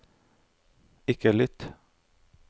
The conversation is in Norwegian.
ikke lytt